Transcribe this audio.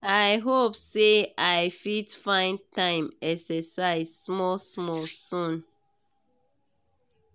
i hope say i fit find time exercise small small soon.